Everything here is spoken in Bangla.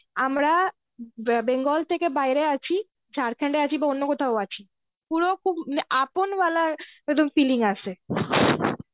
আমরা বে~ bengal থেকে বাইরে আছি, Jharkhand এ আছি বা অন্য কোথাও আছি. পুরো খুব আপন ওয়ালার একদম feelings আসে.